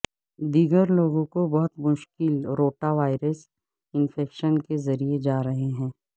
دیگر لوگوں کو بہت مشکل روٹاوائرس انفیکشن کے ذریعے جا رہے ہیں